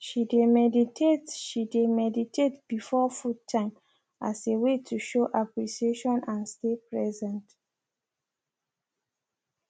she de meditate she de meditate before food time as a way to show appreciation and stay present